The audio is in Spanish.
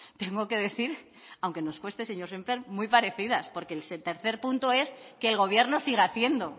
tengo que decir aunque nos cueste señor sémper muy parecidas porque el tercer punto es que el gobierno siga haciendo